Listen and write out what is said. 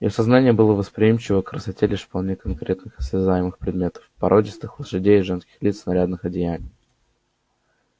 её сознание было восприимчиво к красоте лишь вполне конкретных осязаемых предметов породистых лошадей женских лиц нарядных одеяний